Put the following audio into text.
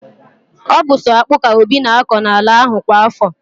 Ọ bu so akpu ka Obi na akọ n'ala ahụ kwa afọ